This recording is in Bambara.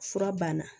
Fura banna